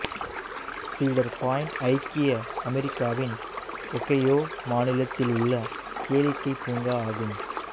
சீடர் பாயிண்ட் ஐக்கிய அமெரிக்காவின் ஒகையோ மாநிலத்திலுள்ள கேளிக்கைப் பூங்கா ஆகும்